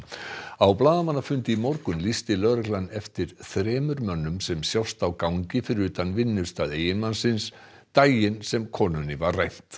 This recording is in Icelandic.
á blaðamannafundi í morgun lýsti lögreglan eftir þremur mönnum sem sjást á gangi fyrir utan vinnustað eiginmannsins daginn sem konunni var rænt